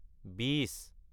বিশ